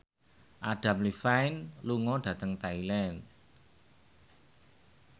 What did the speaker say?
Adam Levine lunga dhateng Thailand